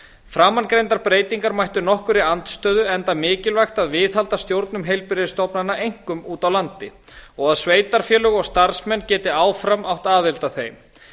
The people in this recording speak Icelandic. framangreindar breytingar mættu nokkurri andstöðu enda mikilvægt að viðhalda stjórnum heilbrigðisstofnana einkum úti á landi og að sveitarfélög og starfsmenn geti áfram átt aðild að þeim